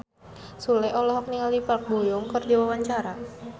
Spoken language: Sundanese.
Sule olohok ningali Park Bo Yung keur diwawancara